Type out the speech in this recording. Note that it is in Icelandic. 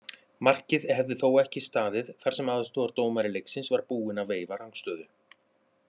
Markið hefði þó ekki staðið þar sem aðstoðardómari leiksins var búinn að veifa rangstöðu.